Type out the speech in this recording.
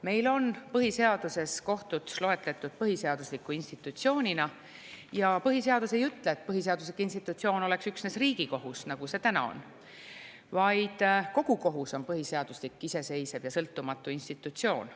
Meil on põhiseaduses kohtud põhiseadusliku institutsioonina ja põhiseadus ei ütle, et põhiseaduslik institutsioon on üksnes Riigikohus, nagu see täna on, vaid kogu kohus on põhiseaduslik, iseseisev ja sõltumatu institutsioon.